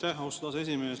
Aitäh, austatud aseesimees!